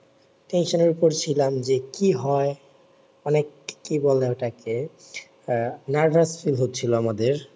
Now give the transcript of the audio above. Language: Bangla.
tension এর উপর ছিলাম যে কি হয় অনেক কি বলে ওটাকে আহ nervous হচ্ছিলো আমাদের